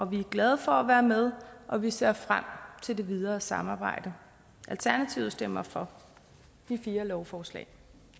vi er glade for at være med og vi ser frem til det videre samarbejde alternativet stemmer for de fire lovforslag